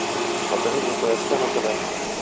покажи мне бст на тв